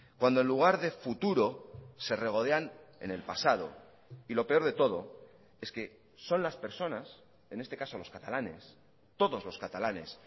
cuando en lugar de futuro se regodean en el pasado y lo peor de todo es que son las personas en este caso los catalanes todos los catalanes